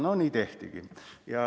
Nii tehtigi.